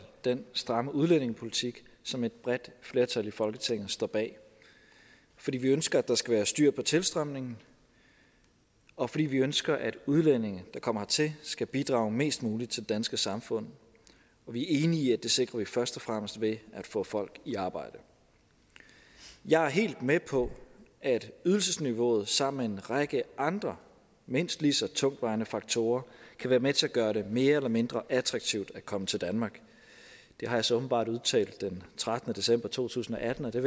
den stramme udlændingepolitik som et bredt flertal i folketinget står bag fordi vi ønsker at der skal være styr på tilstrømningen og fordi vi ønsker at udlændinge der kommer hertil skal bidrage mest muligt til det danske samfund og vi er enige i at det sikrer vi først og fremmest ved at få folk i arbejde jeg er helt med på at ydelsesniveauet sammen med en række andre mindst lige så tungtvejende faktorer kan være med til at gøre det mere eller mindre attraktivt at komme til danmark det har jeg så åbenbart udtalt den trettende december to tusind og atten og det